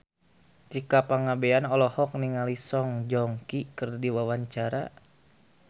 Tika Pangabean olohok ningali Song Joong Ki keur diwawancara